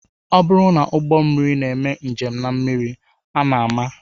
Ọ bụrụ na ụgbọmmiri na-eme njem na mmiri a na-ama